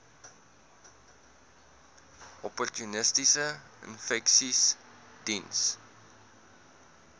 opportunistiese infeksies diens